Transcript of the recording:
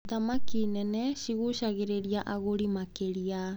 Thamaki nene cigucagĩrĩria agũri makĩria.